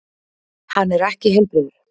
Hann er ekki heilbrigður.